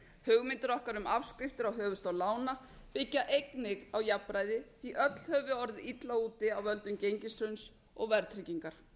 hugmyndir okkar um afskriftir á höfuðstól lána byggja einnig á jafnræði því öll höfum við orðið illa úti af völdum gengishruns og verðtryggingar